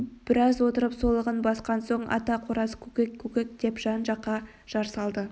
біраз отырып солығын басқан соң ата қораз көкек көкек деп жан-жаққа жар салды